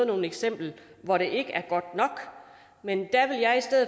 nogle eksempler hvor det ikke er godt nok men